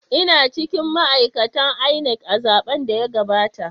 Ina cikin ma’aikatan INEC a zaben da ya gabata.